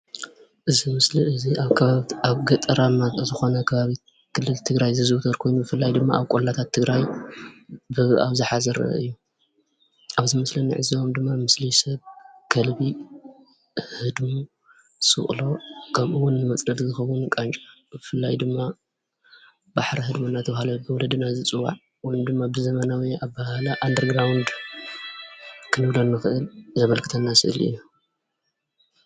እዚ ምስሊ እዙይ ኣብ ገጠራማ ዝኾነ ኸባቢ ክልል ትግራይ ብፍላይ ኣብጨቆለማ ኸባቢ ይዝውተር።